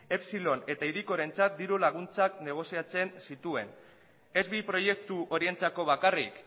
epsilon eta hirikorentzat diru laguntzak negoziatzen zituen ez bi proiektu horientzako bakarrik